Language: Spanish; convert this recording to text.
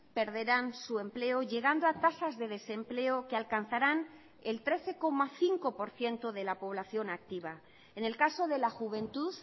perderán su empleo llegando a tasas de desempleo que alcanzarán el trece coma cinco por ciento de la población activa en el caso de la juventud